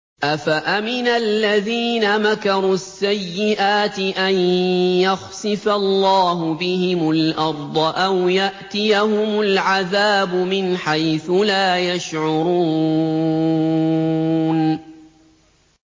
أَفَأَمِنَ الَّذِينَ مَكَرُوا السَّيِّئَاتِ أَن يَخْسِفَ اللَّهُ بِهِمُ الْأَرْضَ أَوْ يَأْتِيَهُمُ الْعَذَابُ مِنْ حَيْثُ لَا يَشْعُرُونَ